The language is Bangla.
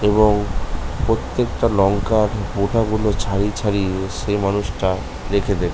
এবং প্রত্যেকটা লংকার বোটা গুলো ছাড়িয়ে ছাড়িয়ে সেই মানুষটা রেখে দেবে--